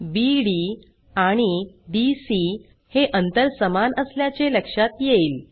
बीडी आणि डीसी हे अंतर समान असल्याचे लक्षात येईल